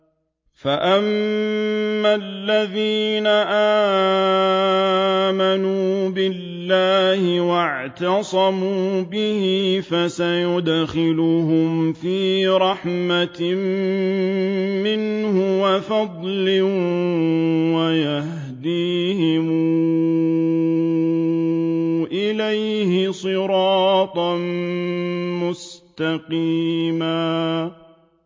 فَأَمَّا الَّذِينَ آمَنُوا بِاللَّهِ وَاعْتَصَمُوا بِهِ فَسَيُدْخِلُهُمْ فِي رَحْمَةٍ مِّنْهُ وَفَضْلٍ وَيَهْدِيهِمْ إِلَيْهِ صِرَاطًا مُّسْتَقِيمًا